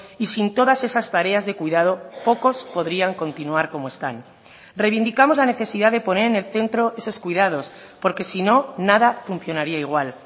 y sin todas esas tareas de cuidado pocos podrían continuar como están reivindicamos la necesidad de poner en el centro esos cuidados porque si no nada funcionaría igual